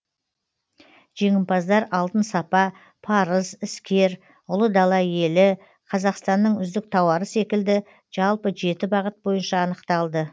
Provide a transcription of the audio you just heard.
жеңімпаздар алтын сапа парыз іскер ұлы дала елі қазақстанның үздік тауары секілді жалпы жеті бағыт бойынша анықталды